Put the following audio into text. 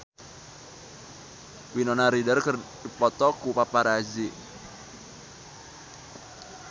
Winona Ryder dipoto ku paparazi